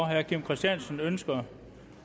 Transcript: herre kim christiansen ønsker